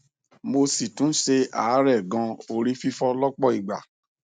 mo si tún se aarẹ gan ori fifo lọpọ ìgbà